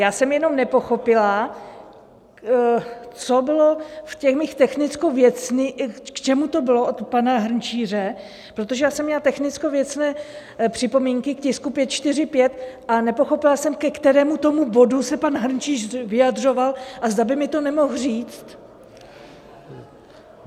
Já jsem jenom nepochopila, co bylo v těch mých technicko-věcných, k čemu to bylo od pana Hrnčíře, protože já jsem měla technicko-věcné připomínky k tisku 545, a nepochopila jsem, ke kterému tomu bodu se pan Hrnčíř vyjadřoval a zda by mi to nemohl říct.